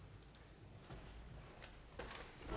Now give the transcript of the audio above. der